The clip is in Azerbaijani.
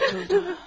Kurtuldu.